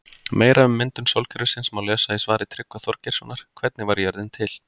Meira um myndun sólkerfisins má lesa í svari Tryggva Þorgeirssonar Hvernig varð jörðin til?